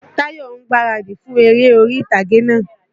Táyọ̀ ń gbaradì fún eré orí tàgé náà.